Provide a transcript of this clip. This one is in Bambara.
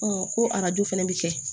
ko arajo fana bɛ kɛ